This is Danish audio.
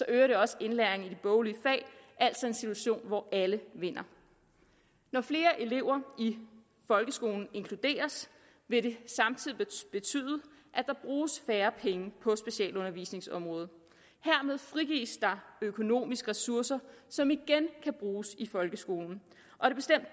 øger også indlæringen i de boglige fag altså en situation hvor alle vinder når flere elever i folkeskolen inkluderes vil det samtidig betyde at der bruges færre penge på specialundervisningsområdet hermed frigives der økonomiske ressourcer som igen kan bruges i folkeskolen og